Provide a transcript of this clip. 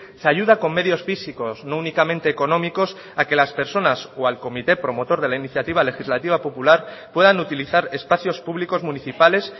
se ayuda con medios físicos no únicamente económicos a que las personas o al comité promotor de la iniciativa legislativa popular puedan utilizar espacios públicos municipales